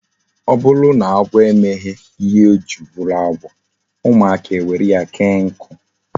O buru na agwo emeghi ihe ojiri buru agwo, umuaka ewere ya kee nku